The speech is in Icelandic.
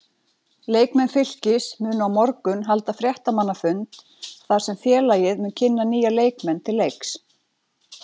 Fylkismenn munu á morgun halda fréttamannafund þar sem félagið mun kynna nýja leikmenn til leiks.